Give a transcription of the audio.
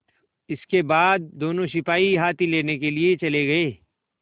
इसके बाद दोनों सिपाही हाथी लेने के लिए चले गए